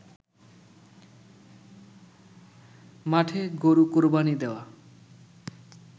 মাঠে গরু কোরবানি দেওয়া